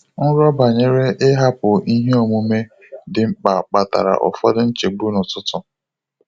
Nrọ banyere ịhapụ ihe omume dị mkpa kpatara ụfọdụ nchegbu n'ụtụtụ.